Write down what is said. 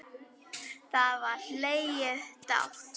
Þá var hlegið dátt.